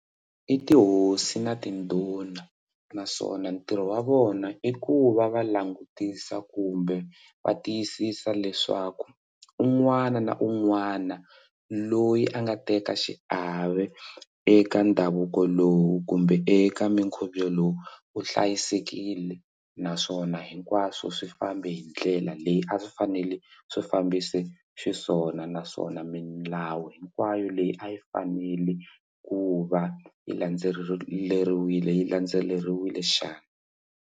I tihosi na tindhuna naswona ntirho wa vona i ku va va langutisa kumbe va tiyisisa leswaku un'wana na un'wana loyi a nga teka xiave eka ndhavuko lowu kumbe eka mikhubyo lowu u hlayisekile naswona hinkwaswo swi fambe hi ndlela leyi a swi fanele swi fambise xiswona naswona milawu hinkwayo leyi a yi fanele ku va yi landzeleriwile yi landzeleriwile xana?